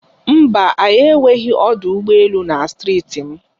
Mba, anyị enweghị ọdụ ụgbọ elu na Steeti m.